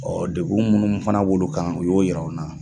deguin minnu fana b'olu kan u y'o yir'anw na